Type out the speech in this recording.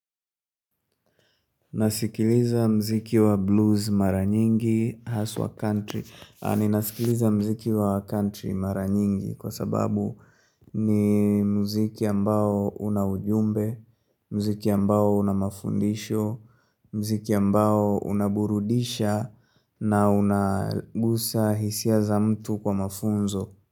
Nasikiliza mziki wa blues mara nyingi haswa country. Aninasikiliza mziki wa country mara nyingi kwa sababu ni mziki ambao unaujumbe, mziki ambao unamafundisho, mziki ambao unaburudisha na unagusa hisia za mtu kwa mafunzo.